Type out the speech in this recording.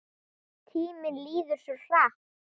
Tíminn líður svo hratt.